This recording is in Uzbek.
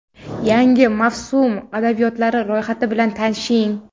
yangi mavsum adabiyotlari ro‘yxati bilan tanishing.